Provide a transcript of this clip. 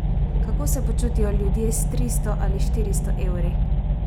Kako se počutijo ljudje s tristo ali štiristo evri?